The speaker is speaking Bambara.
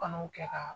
Banaw kɛ ka